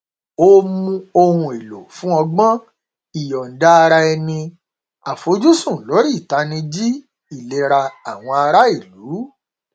ó nu ohun èlò fún ọgbọn ìyọnda ara ẹni àfojúsùn lórí ìtanijí ìlera àwọn ará ìlú